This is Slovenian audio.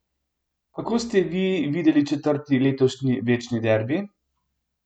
Kako ste vi videli četrti letošnji večni derbi?